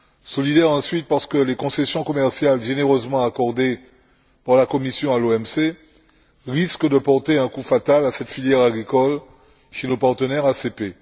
Solidaire ensuite parce que les concessions commerciales généreusement accordées par la Commission à l'OMC risquent de porter un coup fatal à cette filière agricole chez nos partenaires ACP.